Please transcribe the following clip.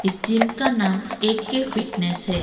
इस जिम का नाम ए_के फिटनेस है।